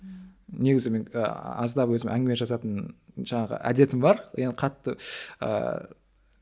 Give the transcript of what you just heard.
негізі мен ыыы аздап өзім әңгіме жазатын жаңағы әдетім бар енді қатты ыыы